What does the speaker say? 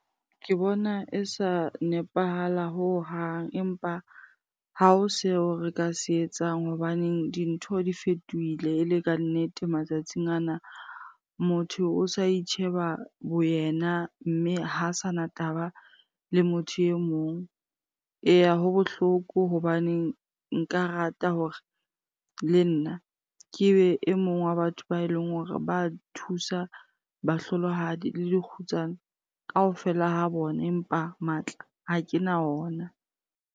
Ke bona e sa nepahala hohang empa ha o seo re ka se etsang hobaneng dintho di fetohile e le kannete matsatsing ana. Motho o sa itjheba bo yena mme ha sanna taba le motho e mong. Eya ho bohloko hobaneng nka rata hore le nna ke be e mong wa batho ba eleng hore ba thusa bahlolohadi le dikgutsana kaofela ha bona, empa matla ha ke na ona.